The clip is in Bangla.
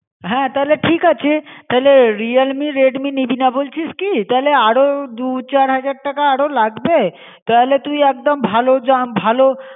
হ্যাঁ তালে ঠিক আছে. তালে Realme Redmi নিবিনা বলছিস কী? তালে আরও দু চার হাজার টাকা আরও লাগবে তালে তুই একদম ভালো জ্যাম ভালো